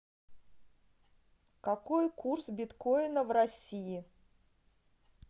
какой курс биткоина в россии